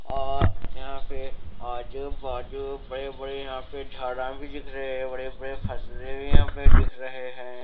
और यहां पे आजू बाजू बड़े बड़े यहां पे झाड़ा भी दीख रहे हैं बड़े बड़े फसले भी यहां पे दिख रहे हैं।